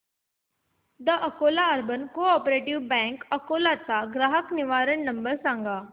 the Akola urban cooperative bank Akola चा ग्राहक निवारण नंबर सांग